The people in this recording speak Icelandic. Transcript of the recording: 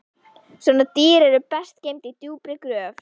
Svona dýr eru best geymd í djúpri gröf